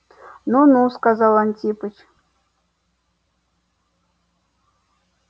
ну-ну сказал антипыч